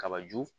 Kaba ju